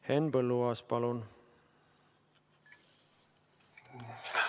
Henn Põlluaas, palun!